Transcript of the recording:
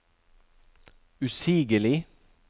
usigelig